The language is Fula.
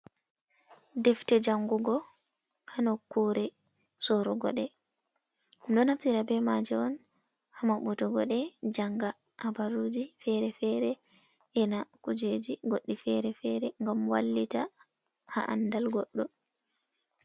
Defte jangugo hanokkure sorugo ɗe, ɗum ɗo naftira be maje on ha maɓutugo ɗe janga habaruji fere-fere e na kujeji goɗɗi ferefere gam wallita ha andal goɗɗo.